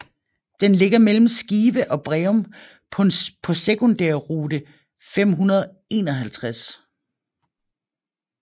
Den ligger mellem Skive og Breum på sekundærrute 551